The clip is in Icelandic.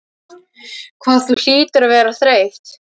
Hvað þú hlýtur að vera þreytt.